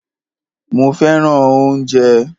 Mó fẹràn oúnjẹ.